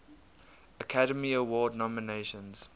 academy award nominations